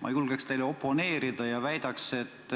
Ma julgeks teile oponeerida ja väidan, et